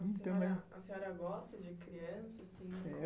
A senhora gosta de criança, assim?